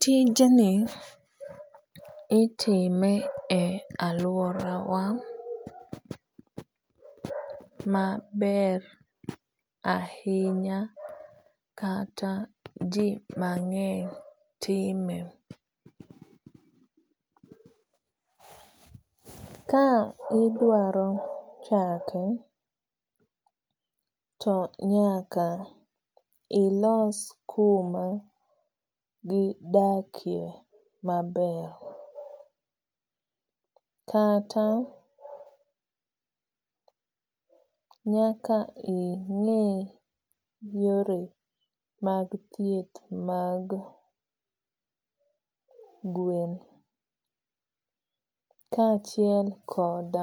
Tijni itime e aworawa mabr ahinya kata jii mangeny time ka idwaro chake tonyaaka ilos kuma gidake maber kata nyaka ingii yore mag thieth mag gwen kaachiel kod